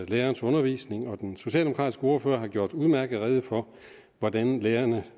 lærerens undervisning og den socialdemokratiske ordfører har gjort udmærket rede for hvordan lærerne